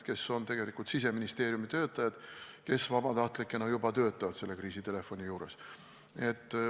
Nad on tegelikult Siseministeeriumi töötajad, kes vabatahtlikena juba töötavad selle kriisitelefoni juures.